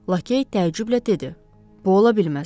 Lakey təəccüblə dedi: Bu ola bilməz.